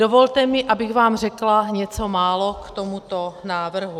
Dovolte mi, abych vám řekla něco málo k tomuto návrhu.